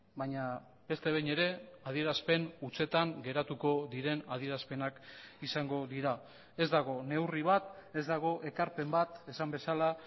baina beste behin ere adierazpen hutsetan geratuko diren adierazpenak izango dira ez dago neurri bat ez dago ekarpen bat esan bezala